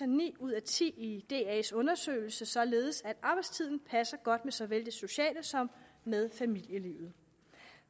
ni ud af ti i das undersøgelse således at arbejdstiden passer godt med såvel det sociale som med familielivet